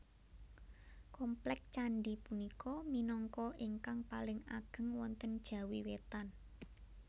Komplèk candhi punika minangka ingkang paling ageng wonten Jawi Wétan